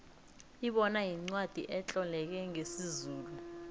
ibona yincwacli etloleke ngesizulu